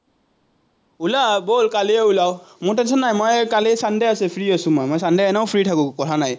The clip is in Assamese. ওলা, ব'ল, কালিয়ে ওলাওঁ। মোৰ tension নাই, মই এই কালি sunday আছে, ফ্ৰি আছো মই, মই sunday এনেও ফ্ৰি থাকো, কথা নাই।